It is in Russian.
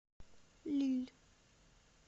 лилль